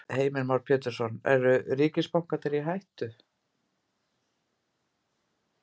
Heimir Már Pétursson: Eru ríkisbankarnir í hættu?